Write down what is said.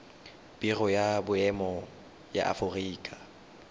biro ya boemo ya aforika